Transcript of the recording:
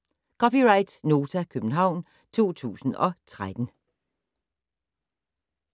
(c) Nota, København 2013